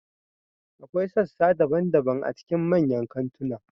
Akwai sassa daban-daban a cikin manyan kantuna.